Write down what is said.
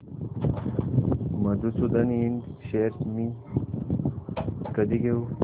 मधुसूदन इंड शेअर्स मी कधी घेऊ